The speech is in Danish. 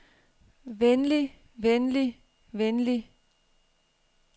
venlig venlig venlig